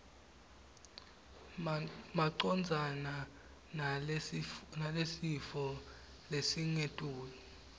macondzana nalesifo lesingetulu